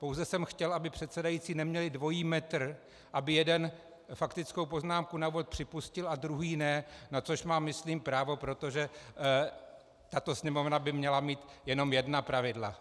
Pouze jsem chtěl, aby předsedající neměli dvojí metr, aby jeden faktickou poznámku na úvod připustil a druhý ne, na což mám myslím právo, protože tato Sněmovna by měla mít jenom jedna pravidla.